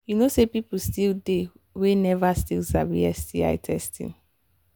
you know say people still they we never sabi sti testing